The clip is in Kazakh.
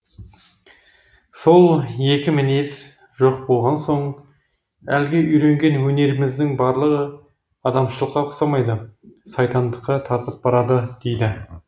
сол екі мінез жоқ болған соң әлгі үйренген өнеріміздің барлығы адамшылыққа ұқсамайды сайтандыққа тартып барады дейді